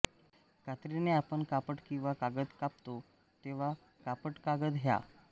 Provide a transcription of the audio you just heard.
कात्रीने आपण कापड किंवा कागद कापतो तेव्हा कापडकागद ह्या